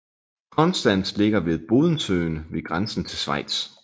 Konstanz ligger ved Bodensøen ved grænsen til Schweiz